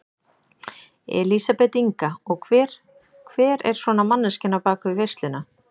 Elísabet Inga: Og hver, hver er svona manneskjan á bakvið veisluna?